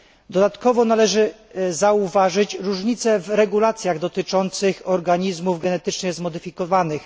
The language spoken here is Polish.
Dodatkowo należy zauważyć różnicę w regulacjach dotyczących organizmów genetycznie zmodyfikowanych.